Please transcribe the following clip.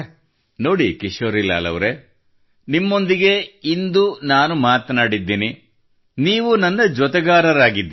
ನೋಡಿ ಕಿಶೋರಿಲಾಲ್ ಅವರೇ ನಿಮ್ಮೊಂದಿಗೆ ಇಂದು ನಾನು ಮಾತನಾಡಿದ್ದೇನೆ ನೀವು ನನ್ನ ಜೊತೆಗಾರರಾಗಿದ್ದೀರಿ